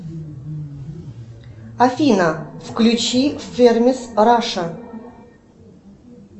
афина включи фермис раша